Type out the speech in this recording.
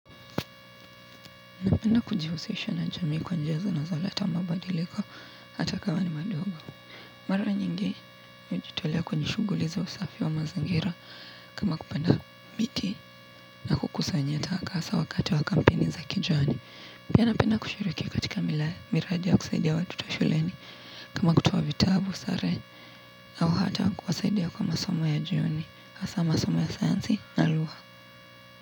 Napenda kujihusisha na jamii kwa njia zinazoleta mabadiliko hata kama ni madogo. Mara nyingi hujitolea kwenye shughuli za usafi wa mazingira kama kupenda miti na kukusanya taka hasa wakati wa kampeini za kijani. Pia napenda kushiriki katika miradi ya kusaidia watoto shuleni. Kama kutoa vitabu, sare au hata kuwasaidia kwa masomo ya jioni hasa masomo ya sayansi na lugha.